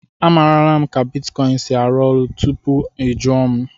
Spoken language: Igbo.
Amarala m ka bitkọịn si arụ ọrụ tupu ị jụọ m.